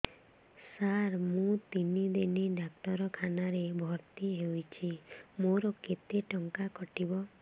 ସାର ମୁ ତିନି ଦିନ ଡାକ୍ତରଖାନା ରେ ଭର୍ତି ହେଇଛି ମୋର କେତେ ଟଙ୍କା କଟିବ